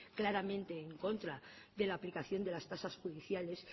claramente en contra de la aplicación de las tasas judiciales